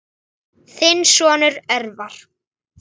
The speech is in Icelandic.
Þinn sonur, Örvar.